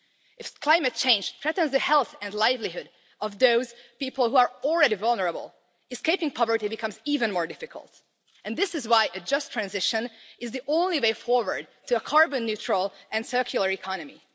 If climate change threatens the health and livelihood of those people who are already vulnerable, escaping poverty becomes even more difficult, and this is why a just transition is the only way forward to a carbon neutral and circular economy.